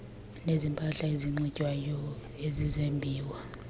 nezempahla enxitywayo ezezimbiwa